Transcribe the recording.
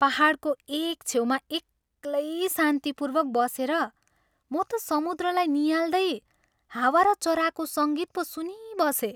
पाहाडको एक छेउमा एक्लै शान्तिपूर्वक बसेर म त समुद्रलाई नियाल्दै हावा र चराको सङ्गीत पो सुनिबसेँ।